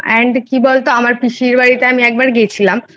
কি বলতো আমার পিসির বাড়িতে আমি একবার গিয়েছিলাম,